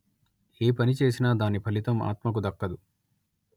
ఏ పని చేసినా దాని ఫలితం ఆత్మకు దక్కదు